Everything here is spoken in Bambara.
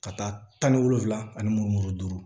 Ka taa tan ni wolonfila ani mugan ni mugan duuru